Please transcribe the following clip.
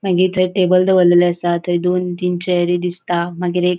मागिर थंय टेबल दोवरलेले आसा. मागिर थंय दोन-तीन चेयरी दिसता मागिर एक--